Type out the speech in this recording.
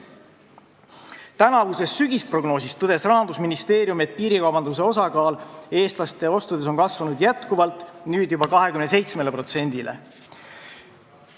Tänavuses sügisprognoosis tõdes Rahandusministeerium, et piirikaubanduse osakaal eestlaste ostudes on kasvanud jätkuvalt, nüüd juba 27%-le.